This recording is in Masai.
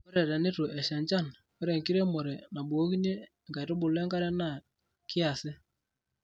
Ore tenetu esha enjan, ore enkiremore nabukokini nkaitubulu enkare naa kiasi.